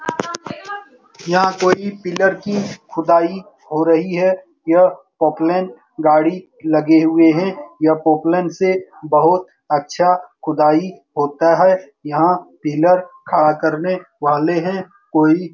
यह कोई पिलर की खुदाई हो रही है। यह पोक्लैन गाड़ी लगे हुए है। यह पोक्लैन से बहुत अच्छा खुदाई होता है। यहाँ पिलर खड़ा करने वाले है। कोई --